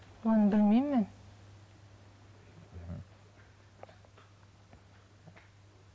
оны білмеймін мен мхм